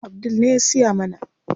Abdul ne ya siya mana.